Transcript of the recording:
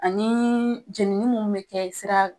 Ani jenini minnu bɛ kɛ sira